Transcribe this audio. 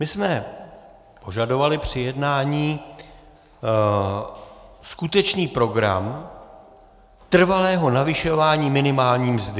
My jsme požadovali při jednání skutečný program trvalého navyšování minimální mzdy.